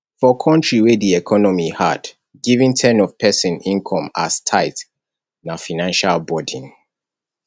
for country wey di economy hard giving ten of person income as tithe na financial burden